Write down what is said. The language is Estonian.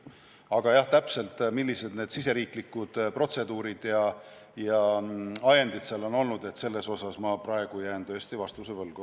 Aga jah, millised täpselt need riigisisesed protseduurid ja ajendid on olnud, selle kohta jään ma praegu tõesti vastuse võlgu.